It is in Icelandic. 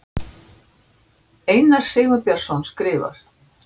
Einar Sigurbjörnsson skrifar